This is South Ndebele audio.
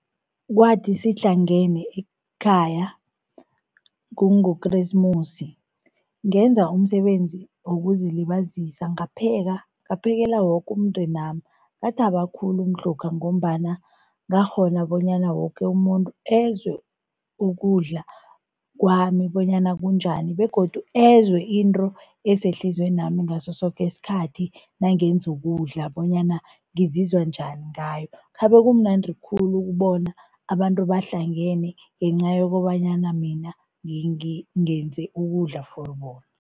Kwathi sihlangene ekhaya kungokresimusi, ngenza umsebenzi wokuzilibazisa ngapheka, ngaphekela woke umndenami. Ngathaba khulu mhlokha ngombana ngakghona bonyana woke umuntu ezwe ukudla kwami bonyana kunjani begodu ezwe into esehliziywenami ngaso soke isikhathi nangenza ukudla bonyana ngizizwa njani ngayo. Khabe kumnandi khulu ukubona abantu bahlangene ngenca yokobanyana mina ngenze ukudla for bona.